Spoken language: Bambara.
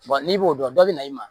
n'i b'o dɔn dɔ bɛ na i ma